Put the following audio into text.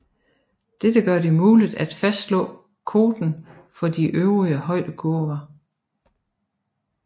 Dette gør det muligt at fastslå koten for de øvrige højdekurver